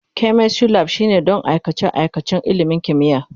Chemistry Lab shine don aikace-aikacen ilimin kimiyya.